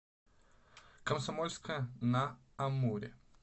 комсомольска на амуре